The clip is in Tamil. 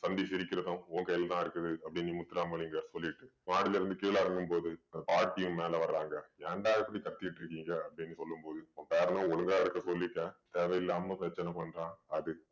சந்தி சிரிக்கறதும் உன் கையில தான் இருக்குது அப்படீன்னு முத்துராமலிங்கம் சொல்லிட்டு மாடியிலருந்து கீழ இறங்கும் போது அந்த பாட்டியும் மேல வர்றாங்க. ஏன்டா இப்படி கத்தீட்டிருக்கீங்க அப்படீன்னு சொல்லும் போது உன் பேரன ஒழுங்கா இருக்க சொல்லிட்டேன் தேவையில்லாம பிரச்சனை பண்றான் அது